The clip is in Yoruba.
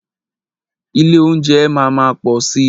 Ilé óúnjẹ máa má pọ̀ si.